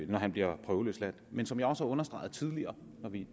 når han bliver prøveløsladt men som jeg også har understreget tidligere når vi